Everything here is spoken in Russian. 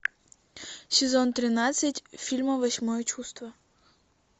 сезон тринадцать фильм восьмое чувство